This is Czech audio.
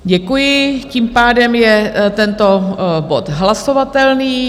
Děkuji, tím pádem je tento bod hlasovatelný.